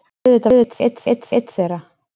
Auðvitað var ég einn þeirra!